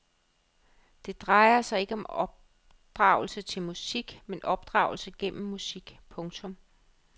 Det drejer sig ikke om opdragelse til musik men opdragelse gennem musik. punktum